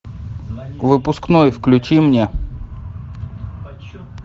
выпускной включи мне